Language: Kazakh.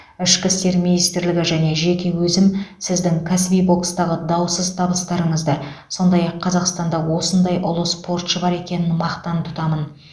ішкі істер министрлігі және жеке өзім сіздің кәсіби бокстағы даусыз табыстарыңызды сондай ақ қазақстанда осындай ұлы спортшы бар екенін мақтан тұтамын